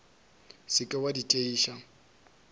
se ke wa di tšeiša